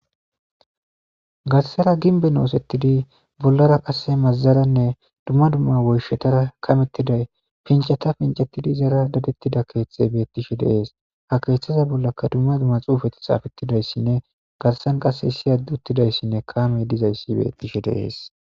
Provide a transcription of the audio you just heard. garsara ginbe osettidi bollara qasse mazazaranne dumma dumma woyshetara kamettiday pincata pincettidi zaara dadettida keethte bettishe deees ha keeththaza bollaka dumma dumma xuufati xaafettidayssinne garsan qasse siyaduttidayssinne kaame dizayssi bettishe de'ees